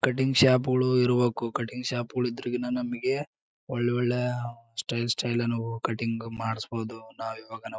Cutting ಶಾಪ್ಗಳು ಇರ್ಬೇಕು cutting ಶಾಪ್ಗಳು ಇದ್ರೆ ನಮಗೆ ಒಳ್ಳೆ ಒಳ್ಳೆಯ ಸ್ಟೈಲ್ ಸ್ಟೈಲ್ ಕಟಿಂಗ್ ಮಾಡ್ಸಬಹುದು ನಾವು ಇವಾಗ ಹೋಗಿ.